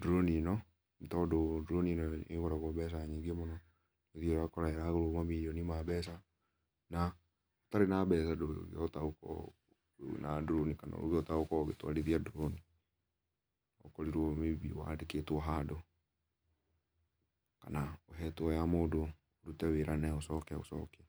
drone ĩno nĩ tondũ drone ĩno nĩgũragwo beca nyĩngĩ mũno ũthĩaga ũgakora nĩrahũrwo mamirioni ma mbeca, na ũtarĩ na mbeca ndũkũhota ũkĩhota kũona drone kana kĩota gũtwarĩthĩa drone no ũkorĩrwo maybe wandĩkĩtwo handũ kana ũhetwo ya mũndũ ũrũte wĩraa nayo ũcoke ũcokĩe.